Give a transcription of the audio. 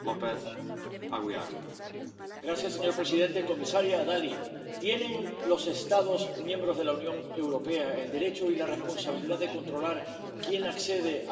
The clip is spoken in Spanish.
Señor presidente, comisaria Dalli, ¿tienen los Estados miembros de la Unión Europea el derecho y la responsabilidad de controlar quién accede al territorio de libre circulación Schengen?